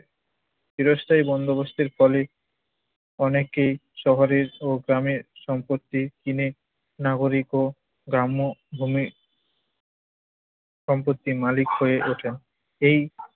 চিরস্থায়ী বন্দোবস্তের ফলে অনেকেই শহরের ও গ্রামের সম্পত্তি কিনে নাগরিক ও গ্রাম্য ভূমি সম্পত্তির মালিক হয়ে ওঠেন। এই